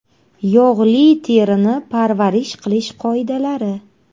Yog‘li terini parvarish qilish qoidalari.